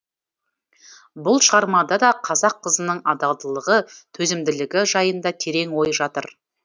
бұл шығармада да қазақ қызының адалдылығы төзімділігі жайында терең ой жатыр